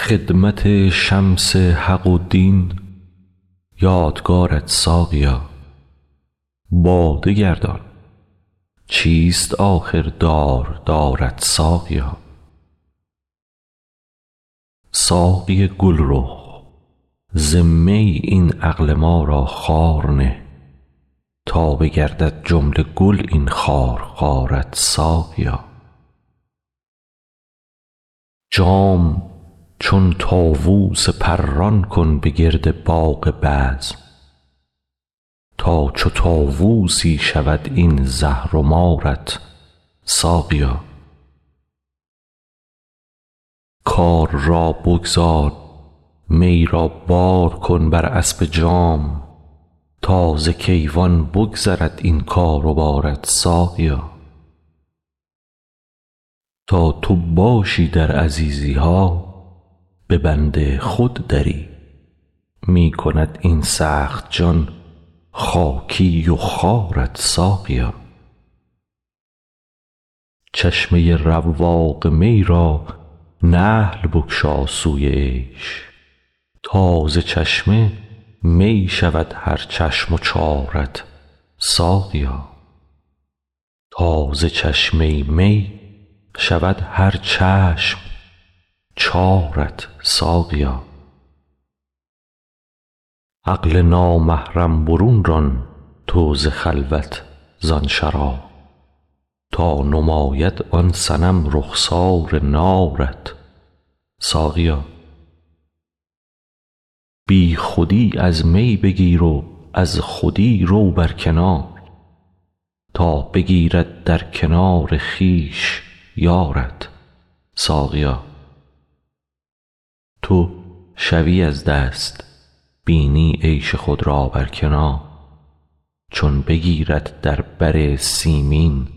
خدمت شمس حق و دین باد کارت ساقیا باده گردان چیست آخر داردارت ساقیا ساقی گلرخ ز می این عقل ما را خار نه تا بگردد جمله گل این خارخارت ساقیا جام چون طاووس پران کن به گرد باغ بزم تا چو طاووسی شود این زهر و مارت ساقیا کار را بگذار می را بار کن بر اسب جام تا ز کیوان بگذرد این کار و بارت ساقیا تا تو باشی در عزیزی ها به بند خود دری می کند ای سخت جان خاکی خوارت ساقیا چشمه ی رواق می را نحل بگشا سوی عیش تا ز چشمه می شود هر چشم و چارت ساقیا عقل نامحرم برون ران تو ز خلوت زان شراب تا نماید آن صنم رخسار نارت ساقیا بیخودی از می بگیر و از خودی رو بر کنار تا بگیرد در کنار خویش یارت ساقیا تو شوی از دست بینی عیش خود را بر کنار چون بگیرد در بر سیمین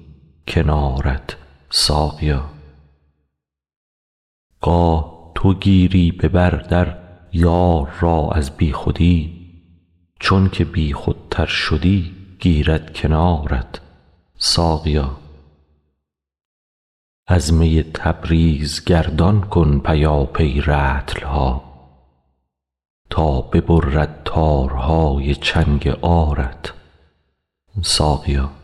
کنارت ساقیا گاه تو گیری به بر در یار را از بیخودی چونک بیخودتر شدی گیرد کنارت ساقیا از می تبریز گردان کن پیاپی رطل ها تا ببرد تارهای چنگ عارت ساقیا